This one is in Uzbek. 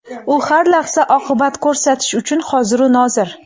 u har lahza "oqibat" ko‘rsatish uchun hoziru nozir.